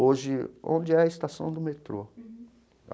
Hoje, onde é a estação do metrô.